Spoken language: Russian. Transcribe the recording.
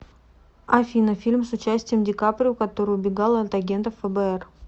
афина фильм с участием дикаприо который убегал от агентов фбр